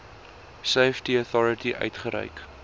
safety authority uitgereik